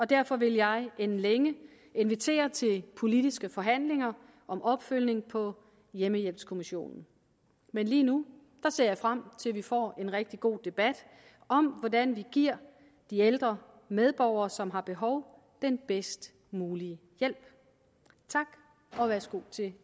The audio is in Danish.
derfor vil jeg inden længe invitere til politiske forhandlinger om opfølgning på hjemmehjælpskommissionen men lige nu ser jeg frem til at vi får en rigtig god debat om hvordan vi giver de ældre medborgere som har behov den bedst mulige hjælp tak og værsgo til